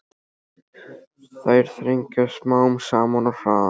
Þær þrengjast smám saman og harðna.